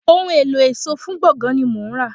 Ohun èlò ẹ̀ṣọ́ fún gbọ̀ngán ni mò ń rà.